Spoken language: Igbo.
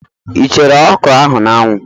Ị chere okro ahụ n'anwu